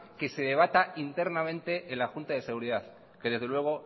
que se debata internamente en la junta de seguridad que desde luego